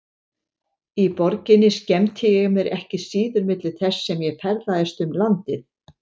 Í borginni skemmti ég mér ekki síður milli þess sem ég ferðaðist um landið.